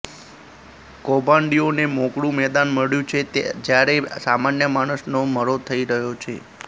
કૌભાંડીઓને મોકળું મેદાન મળ્યું છે જ્યારે સામાન્ય માણસનો મરો થઈ રહ્યો છે